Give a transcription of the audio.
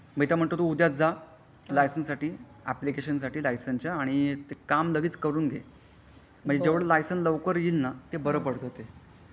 मी तर म्हणतो उद्या जा लायसन्स साठी आपलिकेशन साठी लायसनच्या आणि ते काम लगेच करून घे म्हणजे जेवढे लायसन लवकर येईल ना ते बारा पडत ते.